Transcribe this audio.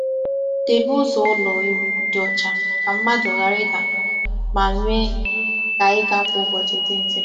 Debe ụzọ ụlọ ewu dị ọcha ka mmadụ ghara ịda ma mee ka ịga kwa ụbọchị dị mfe.